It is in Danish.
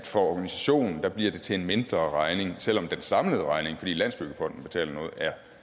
for organisationen bliver til en mindre regning selv om den samlede regning fordi landsbyggefonden betaler noget